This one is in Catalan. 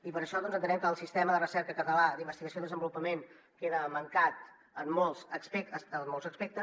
i per això entenem que el sistema de recerca català d’investigació i desenvolupament queda mancat en molts aspectes